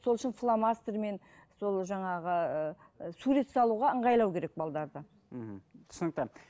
сол үшін фломастермен сол жаңағы ы сурет салуға ыңғайлау керек мхм түсінікті